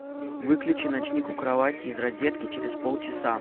выключи ночник у кровати из розетки через полчаса